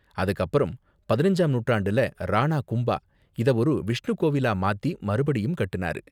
அதுக்கு அப்பறம் பதினஞ்சாம் நூற்றாண்டுல ராணா கும்பா இத ஒரு விஷ்ணு கோயிலா மாத்தி மறுபடியும் கட்டுனாரு.